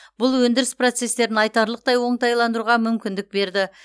бұл өндіріс процестерін айтарлықтай оңтайландыруға мүмкіндік берді